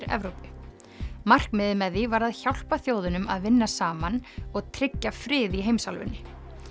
Evrópu markmiðið með því var að hjálpa þjóðunum að vinna saman og tryggja frið í heimsálfunni